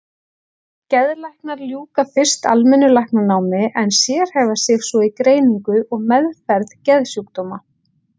Geðlæknar ljúka fyrst almennu læknanámi en sérhæfa sig svo í greiningu og meðferð geðsjúkdóma.